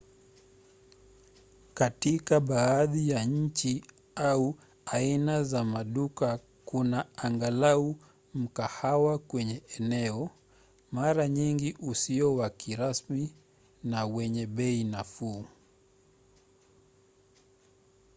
katika baadhi ya nchi au aina za maduka kuna angalau mkahawa kwenye eneo mara nyingi usio wa kirasmi na wenye bei nafuu